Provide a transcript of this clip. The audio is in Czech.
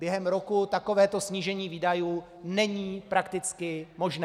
Během roku takovéto snížení výdajů není prakticky možné.